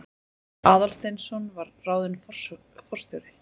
Aðalsteinsson var ráðinn forstjóri.